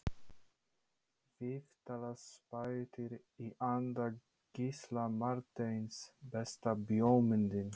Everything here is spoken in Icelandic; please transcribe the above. Viðtalsþættir í anda Gísla Marteins Besta bíómyndin?